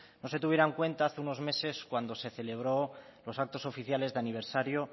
no se tuviera en cuenta hace unos meses cuando se celebró los actos oficiales de aniversario